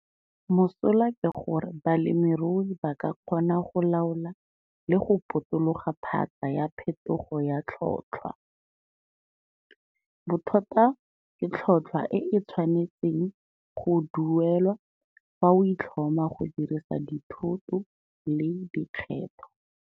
Mosola ke gore balemirui ba ka kgona go laola le go potologa phatsa ya phethogo ya tlhotlhwa. Bothata ke tlhotlhwa e e tshwanetseng go duelwa fa o itlhoma go dirisa dithoto le dikgetho.